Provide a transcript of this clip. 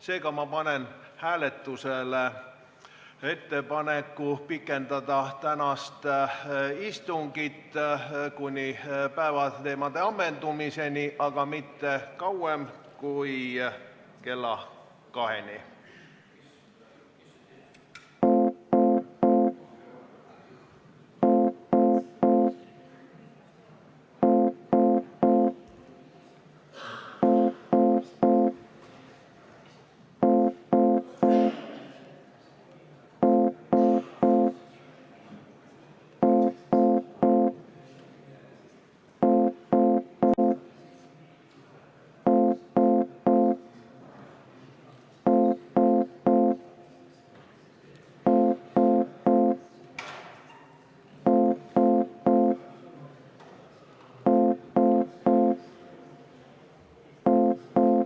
Seega panen ma hääletusele ettepaneku pikendada tänast istungit päevakorra ammendumiseni, aga mitte kauem kui kella 14-ni.